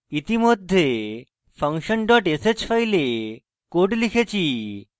ইতিমধ্যে function dot sh file code লিখেছি